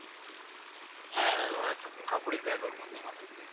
হ্যাঁ একরকম কাপড়ের মধ্যে মানুষ দেখি